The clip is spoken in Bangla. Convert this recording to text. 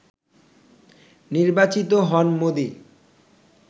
নির্বাচিত হন মোদি